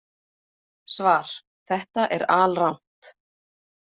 Svar: Þetta er alrangt.